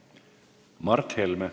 Mart Helme.